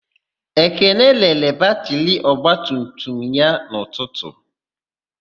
Ekene rere batịrị ogbatumutum ya n'ụtụtụ.